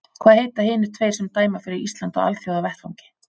Hvaða heita hinir tveir sem dæma fyrir Ísland á Alþjóðavettvangi?